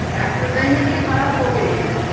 একটা time -এ গিয়ে খারাপ হবেই